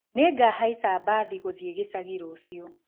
Nĩngahaica mbathi gũthiĩ gĩcagi rũciũ